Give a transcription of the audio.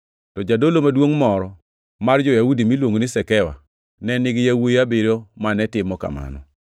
To jadolo maduongʼ moro mar jo-Yahudi miluongo ni Sekewa ne nigi yawuowi abiriyo mane timo kamano.